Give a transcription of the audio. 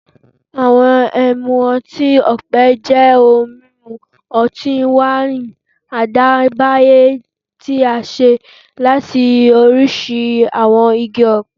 Awọn ẹmu ọti-ọpẹ jẹ ohun mimu ọti-waini adayeba ti a ṣe lati oriṣi awọn igi ọpẹ,